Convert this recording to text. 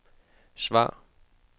svar